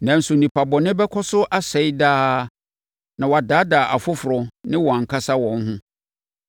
nanso nnipa bɔne bɛkɔ so asɛe daa na wɔadaadaa afoforɔ ne wɔn ankasa wɔn ho.